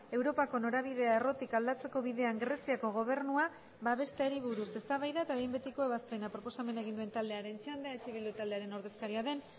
europako norabidea errotik aldatzeko bidean greziako gobernua babesteari buruz eztabaida eta behin betiko ebazpena proposamena egin duen taldearen txanda eh bildu taldearen ordezkaria den